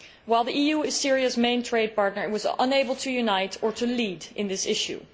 While the EU is Syria's main trading partner, it was unable to unite or to lead in this issue.